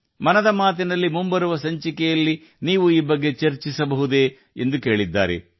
ಮನ್ ಕಿ ಬಾತ್ ನ ಮುಂಬರುವ ಸಂಚಿಕೆಯಲ್ಲಿ ನೀವು ಇದನ್ನು ಚರ್ಚಿಸಬಹುದೇ ಎಂದು ಆಕೆ ಕೇಳಿದ್ದಾರೆ